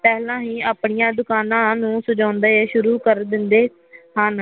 ਪਹਿਲਾਂ ਹੀ ਆਪਣੀਆਂ ਦੁਕਾਨਾ ਨੂੰ ਸਜਾਉਦੇ ਸ਼ੁਰੂ ਕਰ ਦਿੰਦੇ ਹਨ